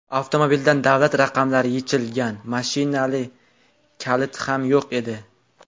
Avtomobildan davlat raqamlari yechilgan, mashina kaliti ham yo‘q edi.